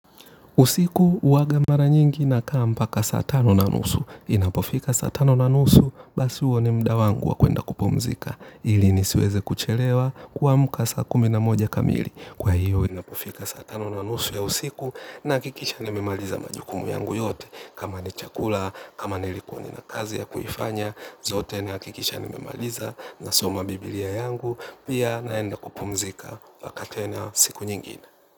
Usiku uwaga mara nyingi na kaa mpaka saa tano na nusu. Inapofika saa tano na nusu basi huo ni muda wangu wa kwenda kupumzika. Ili nisiweze kuchelewa kuamka saa kumi na moja kamili. Kwa hiyo inapofika saa tano na nusu ya usiku nahakikisha nimemaliza majukumu yangu yote. Kama ni chakula, kama nilikuwa ninakazi ya kuifanya. Zote nahakikisha nimemaliza nasoma bibilia yangu. Pia naenda kupumzika mpaka tena siku nyingine.